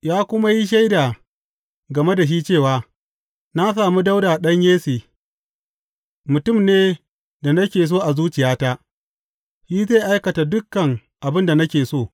Ya kuma yi shaida game da shi cewa, Na sami Dawuda ɗan Yesse, mutum ne da nake so a zuciyata; shi zai aikata dukan abin da nake so.’